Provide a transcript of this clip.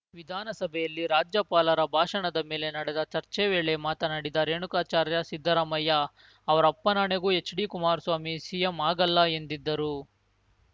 ವಿಧಾನಸಭೆಯಲ್ಲಿ ರಾಜ್ಯಪಾಲರ ಭಾಷಣದ ಮೇಲೆ ನಡೆದ ಚರ್ಚೆ ವೇಳೆ ಮಾತನಾಡಿದ ರೇಣುಕಾಚಾರ್ಯ ಸಿದ್ದರಾಮಯ್ಯ ಅವರಪ್ಪನಾಣೆಗೂ ಎಚ್‌ಡಿ ಕುಮಾರಸ್ವಾಮಿ ಸಿಎಂ ಆಗಲ್ಲ ಎಂದಿದ್ದರು